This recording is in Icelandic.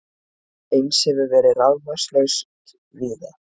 Eins hefur verið rafmagnslaust víða